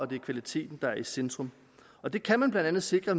det er kvaliteten der er i centrum og det kan man blandt andet sikre